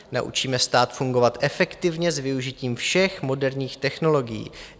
Naučíme stát fungovat efektivně s využitím všech moderních technologií.